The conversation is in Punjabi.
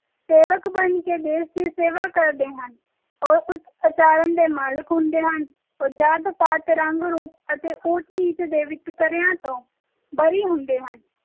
ਬਣ ਕੇ ਦੇਸ਼ ਦੀ ਸੇਵਾ ਕਰਦੇ ਹਨ ਉਹ ਉੱਚ ਆਚਰਣ ਦੇ ਮਾਲਕ ਹੁੰਦੇ ਹਨ ਉਹ ਜਾਤ ਪਾਤ ਉੱਚ ਨੀਚ ਅਤੇ ਰੰਗ ਰੂਪ ਦੇ ਵਿਤਕਰਿਆਂ ਤੋਂ ਬੜੀ ਹੁੰਦੇ ਹਨ